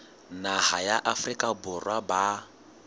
naha ya afrika borwa ba